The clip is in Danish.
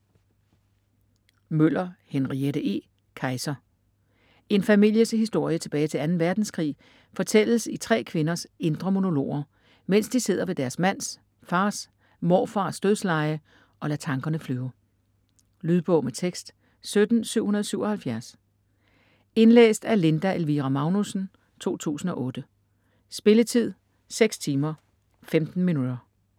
Møller, Henriette E.: Kaiser En families historie tilbage til 2. verdenskrig fortælles i tre kvinders indre monologer, mens de sidder ved deres mands, fars, morfars dødsleje og lader tankerne flyve. Lydbog med tekst 17777 Indlæst af Linda Elvira Magnussen, 2008. Spilletid: 6 timer, 15 minutter.